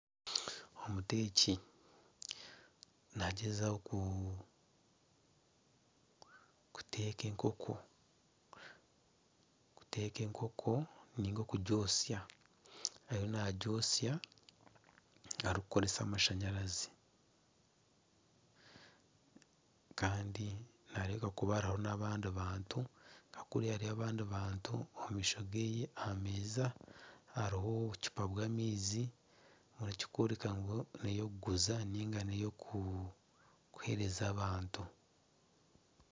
Omuteeki nagyezaho kuteeka enkoko niga okugyotsya ariyo nagyotsya arikukoresa amashanyarazi kandi nihareebeka kuba hariho n'abandi bantu nka kuriya hariyo abandi bantu omu maisho ge aha meeza hariho obucuupa bw'amaizi ekikworeka ngu neyo okuguza niga kuheereza abantu.